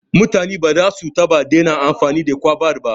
Mutane ba za su taɓa dena amfani da kwaba ba